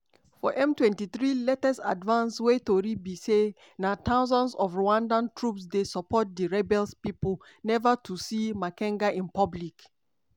for m23 latest advance wey tori be say na thousands of rwandan troops dey support di rebels pipo neva too see makenga in public.